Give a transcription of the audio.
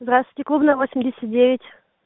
здравствуйте клубная восемьдесят девять